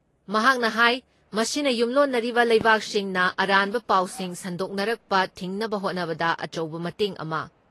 ꯃꯍꯥꯛꯅ ꯍꯥꯏ ꯃꯁꯤꯅ ꯌꯨꯝꯂꯣꯟꯅꯔꯤꯕ ꯂꯩꯕꯥꯛꯁꯤꯡꯅ ꯑꯔꯥꯟꯕ ꯄꯥꯎꯁꯤꯡ ꯁꯥꯡꯗꯣꯔꯛꯄ ꯊꯤꯡꯅꯕ ꯍꯣꯠꯅꯕꯗ ꯑꯆꯧꯕ ꯃꯇꯦꯡ ꯑꯃ